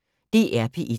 DR P1